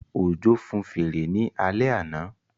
Òjó fun fèrè ní alẹ́ àná